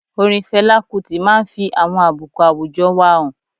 Orin Fela Kuti máa n fi àwọn àbùkù àwùjọ wa han